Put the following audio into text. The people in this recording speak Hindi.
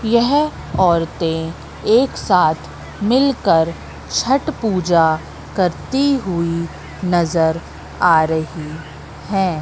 यह औरते एक साथ मिलकर छठ पूजा करती हुई नजर आ रही है।